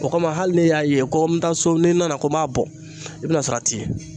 O kama hali n'i y'a ye ko n bɛ taa so ko n'i nana ,ko n b'a bɔ i bɛ na sɔrɔ a tɛ yen.